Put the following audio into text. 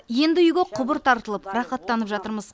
енді үйге құбыр тартылып рахаттанып жатырмыз